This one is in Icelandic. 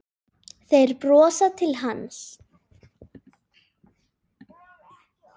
Þeir brosa til hans.